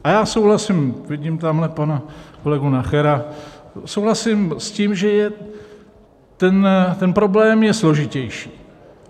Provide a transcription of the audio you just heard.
A já souhlasím, vidím tamhle pana kolegu Nachera, souhlasím s tím, že ten problém je složitější.